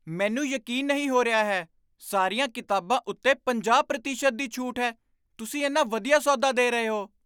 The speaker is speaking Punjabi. ਮੈਨੂੰ ਯਕੀਨ ਨਹੀਂ ਹੋ ਰਿਹਾ ਹੈ! ਸਾਰੀਆਂ ਕਿਤਾਬਾਂ ਉੱਤੇ ਪੰਜਾਹ ਪ੍ਰਤੀਸ਼ਤ ਦੀ ਛੂਟ ਹੈ। ਤੁਸੀਂ ਇੰਨਾ ਵਧੀਆ ਸੌਦਾ ਦੇ ਰਹੇ ਹੋ।